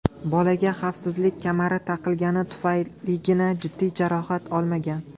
Bolaga xavfsizlik kamari taqilgani tufayligina jiddiy jarohat olmagan.